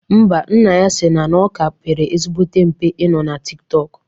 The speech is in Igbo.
Ḿbà, nna ya sịrị na ọ ka pere ezigbo mpe ị nọ na Tik tọk